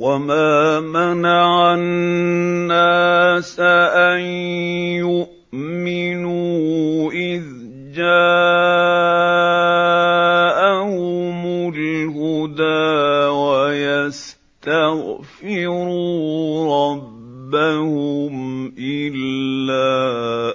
وَمَا مَنَعَ النَّاسَ أَن يُؤْمِنُوا إِذْ جَاءَهُمُ الْهُدَىٰ وَيَسْتَغْفِرُوا رَبَّهُمْ إِلَّا